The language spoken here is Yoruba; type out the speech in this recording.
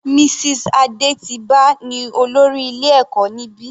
Mrs Adetiba ní olórí ilé ẹ̀kọ́ níbi.